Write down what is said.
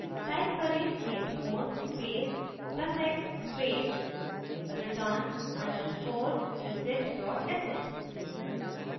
type करेंः chmod space plus x space return underscore exit dot sh